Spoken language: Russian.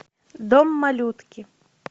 дом малютки